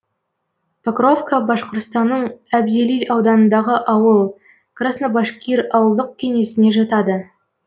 покровка башқұртстанның әбзелил ауданындағы ауыл краснобашкир ауылдық кеңесіне жатады